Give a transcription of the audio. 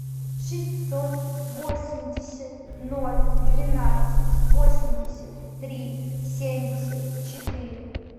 шестьсот восемьдесят ноль двенадцать восемьдесят три семьдесят четыре